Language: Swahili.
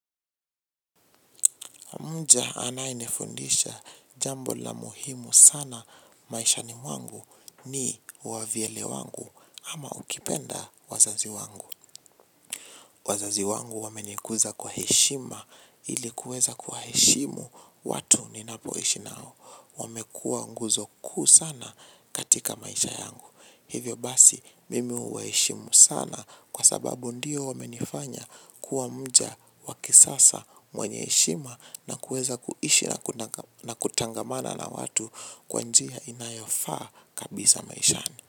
Mja anaenifundisha jambo la muhimu sana maishani wangu ni wavyele wangu ama ukipenda wazazi wangu. Wazazi wangu wamenikuza kwa heshima ilikuweza kuwa heshimu watu ninapoishi nao. Wamekua nguzo kuu sana katika maisha yangu. Hivyo basi mimi uwaeshimu sana kwa sababu ndio wamenifanya kuwa mja wakisasa mwenyeishima na kuweza kuishi na kutangamana na watu kwanjiya inayofa kabisa maishani.